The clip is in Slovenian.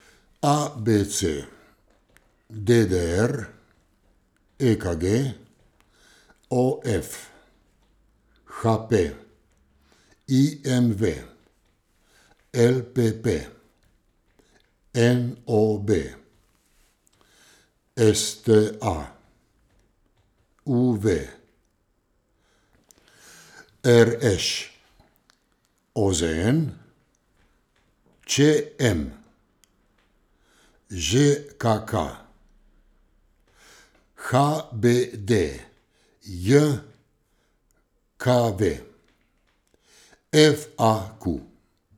A B C; D D R; E K G; O F; H P; I M V; L P P; N O B; S T A; U V; R Š; O Z N; Č M; Ž K K; H B D J K V; F A Q.